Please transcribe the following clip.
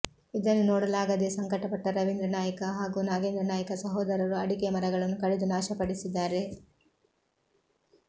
ಇದನ್ನು ನೋಡಲಾಗದೇ ಸಂಕಟಪಟ್ಟ ರವೀಂದ್ರ ನಾಯ್ಕ ಹಾಗೂ ನಾಗೇಂದ್ರ ನಾಯ್ಕ ಸಹೋದರರು ಅಡಿಕೆ ಮರಗಳನ್ನು ಕಡಿದು ನಾಶಪಡಿಸಿದ್ದಾರೆ